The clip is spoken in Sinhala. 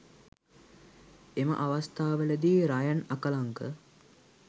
එම අවස්ථාවලදී රයන් අකලංක